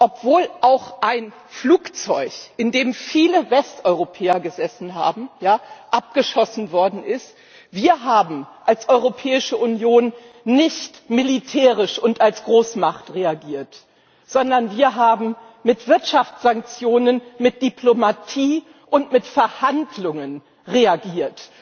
Obwohl auch ein Flugzeug, in dem viele Westeuropäer gesessen haben, abgeschossen worden ist, haben wir als Europäische Union nicht militärisch und als Großmacht reagiert, sondern wir haben mit Wirtschaftssanktionen, mit Diplomatie und mit Verhandlungen reagiert.